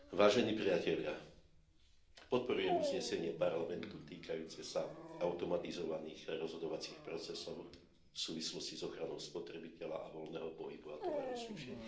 Vážený pán predsedajúci, podporujem uznesenie parlamentu týkajúce sa automatizovaných rozhodovacích procesov v súvislosti s ochranou spotrebiteľa a voľného pohybu a tovaru a služieb.